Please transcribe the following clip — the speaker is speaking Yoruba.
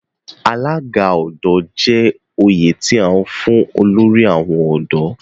Alaga Ọdọ' je oyè ti a fun olori awon ọdọ